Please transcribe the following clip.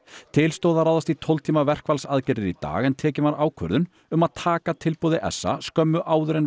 til stóð að ráðast í tólf tíma verkfallsaðgerðir í dag en tekin var ákvörðun um að taka tilboði s a skömmu áður en